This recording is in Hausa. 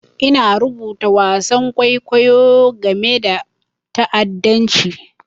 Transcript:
Ina rubuta wasan kwaikwayo game da ta'addanci.